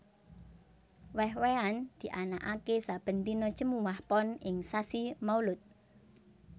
Wèh wèhan dianakaké saben dina Jemuwah Pon ing sasi Maulud